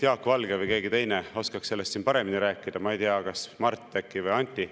Jaak Valge või keegi teine oskaks sellest paremini rääkida, ma ei tea, kas äkki Mart või Anti.